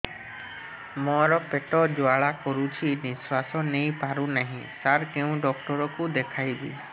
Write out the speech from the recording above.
ମୋର ପେଟ ଜ୍ୱାଳା କରୁଛି ନିଶ୍ୱାସ ନେଇ ପାରୁନାହିଁ ସାର କେଉଁ ଡକ୍ଟର କୁ ଦେଖାଇବି